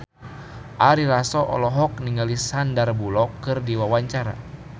Ari Lasso olohok ningali Sandar Bullock keur diwawancara